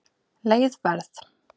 Leið Verð